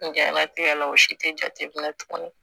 N jalatigɛ la o si tɛ jate minɛ tuguni